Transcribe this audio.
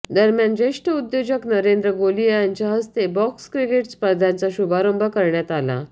दरम्यान ज्येष्ठ उद्योजक नरेंद्र गोलीया यांच्या हस्ते बॉक्स क्रिकेट स्पर्धांचा शुभारंभ करण्यात आला